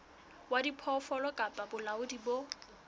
wa diphoofolo kapa bolaodi bo